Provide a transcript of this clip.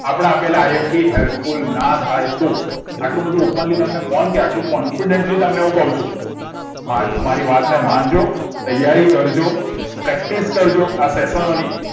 આપડા આપેલા imp help full full ના થાય તો આટલું બધું openly કોણ કે આટલું confidently તમને કઉ છુ મારી વાતને માંનજો તૈયારી કરજો practice કરજો સેસ્નોની